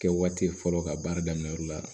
Kɛ waati ye fɔlɔ ka baara daminɛ yɔrɔ la